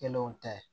Kelenw tɛ